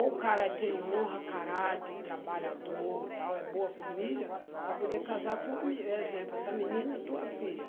Ou o cara tem honra, caráter, trabalhador, tal, é boa família, para poder casar com a mi, exemplo, essa menina é tua filha.